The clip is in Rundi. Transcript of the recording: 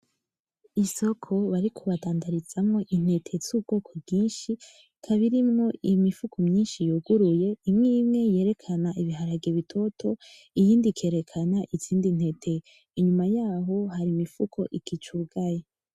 Isoko bariko badandarizamwo intete z'ubwoko bwinshi ikaba irimwo imifuko myinshi yuguruye, imwe imwe yerekana ibiharage bitoto, iyindi ikerekana izindi ntete, inyuma yaho hari imifuko ikicugaye.